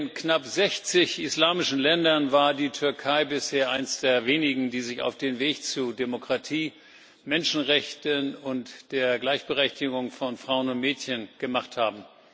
Von den knapp 60 islamischen Ländern war die Türkei bisher eines der wenigen, die sich auf den Weg zu Demokratie, Menschenrechten und der Gleichberechtigung von Frauen und Mädchen gemacht haben.